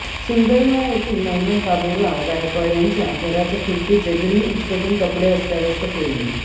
सुंदरमळा येथील नवनाथ बाबुराव गायकवाड यांच्या घराच्या खिडकीचे ग्रील उचकटून कपडे अस्ताव्यस्त केली